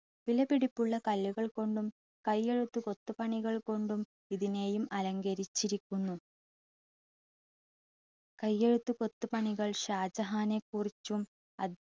വിലപിടിപ്പുള്ള കല്ലുകൾ കൊണ്ടും കയ്യെഴുത്തു കൊത്തുപണികൾ കൊണ്ടും ഇതിനെയും അലങ്കരിച്ചിരിക്കുന്നു. കയ്യെഴുത്തു കൊത്തുപണികൾ ഷാജഹാനെക്കുറിച്ചും